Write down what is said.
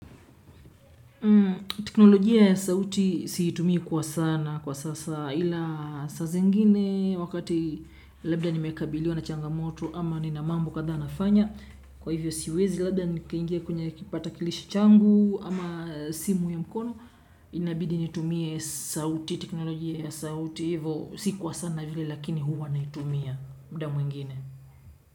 Teknolojia ya sauti siitumia kwa sana kwa sasa ila sasa zingine wakati labda nimekabiliwa na changamoto ama nina mambo kathaa nafanya kwa hivyo siwezi labda nikaingia kwenye kipatakilishi changu ama simu ya mkono inabidi nitumia sauti teknolojia ya sauti evo si kwa sana vile lakini huwa naitumia muda mwingine.